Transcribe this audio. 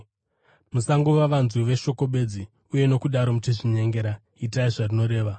Musangova vanzwi veshoko bedzi, uye nokudaro muchizvinyengera. Itai zvarinoreva.